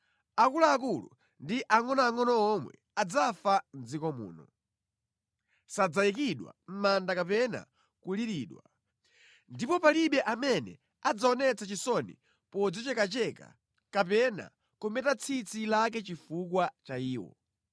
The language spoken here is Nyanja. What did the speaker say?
Akuluakulu ndi angʼonoangʼono omwe adzafa mʼdziko muno. Sadzayikidwa mʼmanda kapena kuliridwa, ndipo palibe amene adzaonetse chisoni podzichekacheka kapena kumeta tsitsi lake chifukwa cha iwo.